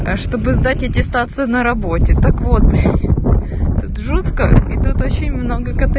а чтобы сдать аттестацию на работе так вот блять тут жутко и тут очень много коте